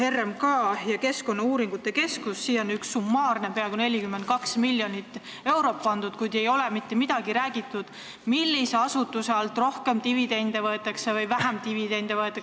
RMK ja Keskkonnauuringute Keskus – siia on pandud summaarne summa peaaegu 42 miljonit eurot, kuid ei ole öeldud, mis asutuselt rohkem dividende võetakse ja mis asutuselt vähem.